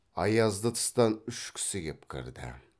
аязды тыстан үш кісі кеп кірді